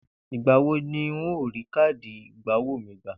Ìgbà wo ni n óò rí káàdì ìgbowó mi gbà?